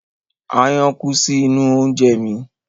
Aáyán kú sí inú oúnje mi.